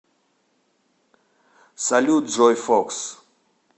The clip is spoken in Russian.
салют джой фокс